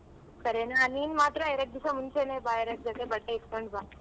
ಸರಿನ ನೀನ್ ಮಾತ್ರ ಎರ್ಡ್ ದಿಸ ಮುಂಚೆನೆ ಬಾ ಎರ್ಡ್ ಜೊತೆ ಬಟ್ಟೆ ಇಟ್ಕೊಂಡ್ ಬಾ.